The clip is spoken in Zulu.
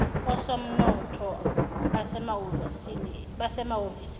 osomnotho basemahhovisi eminyango